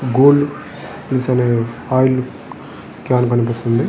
Gold oil కాను కనిపిస్తున్నది.